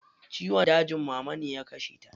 Ciwon dajin mama ne ya kashe ta.